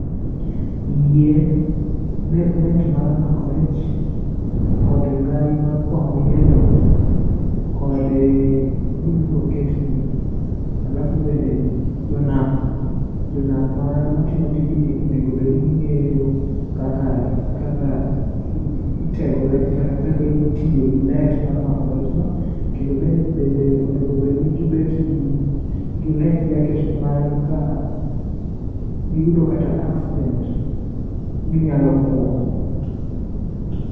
Yie, net mar mako rech kod ngai mar kwang'o yieno, kod gima ibro ketgie. Alafu bende jonam, jonam matimo tijni onego bed ni ging'eyo kaka itego rech kata kaka itiyo gi net mar mako rechno. Kendo bende onego obed ni gibet life jacket ni mar ka giyudo kata accident ginyalo kwoo.